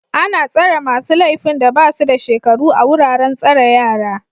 Ana tsare masu laifin da ba su da shekaru a wuraren tsare yara